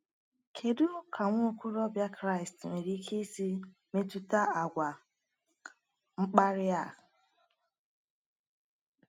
Kedu ka nwa okorobịa Kraịst nwere ike isi metụta àgwà mkparị a?